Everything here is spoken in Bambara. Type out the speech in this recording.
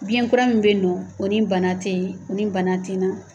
Biyɛn kura min be yen nɔ o ni bana tee o ni bana te na.